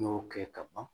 N y'o kɛ ka ban